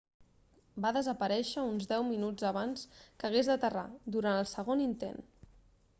va desaparèixer uns deu minuts abans que hagués d'aterrar durant el segon intent